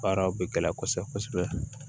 Baaraw bɛ gɛlɛya kosɛbɛ kosɛbɛ